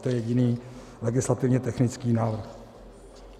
To je jediný legislativně technický návrh.